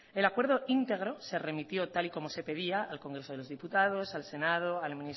el acuerdo íntegro se remitió tal y como se pedía al congreso de los diputados al senado